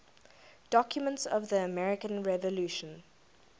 documents of the american revolution